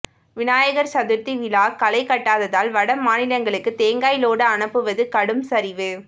விநாயகர் சதுர்த்தி விழா களை கட்டாததால் வட மாநிலங்களுக்கு தேங்காய் லோடு அனுப்புவது கடும் சரிவு